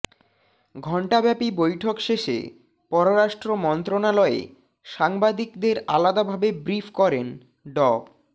ঘণ্টাব্যাপী বৈঠক শেষে পররাষ্ট্র মন্ত্রণালয়ে সাংবাদিকদের আলাদাভাবে ব্রিফ করেন ড